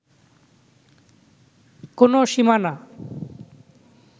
কোনো সীমানা